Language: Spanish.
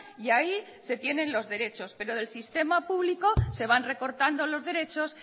y ahí se tienen los derechos pero del sistema público se van recortando los derechos